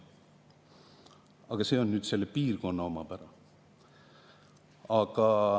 Aga see on nüüd selle piirkonna omapära.